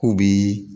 K'u bi